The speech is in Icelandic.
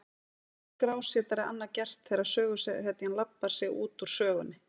Hvað getur skrásetjari annað gert þegar söguhetjan labbar sig út úr sögunni?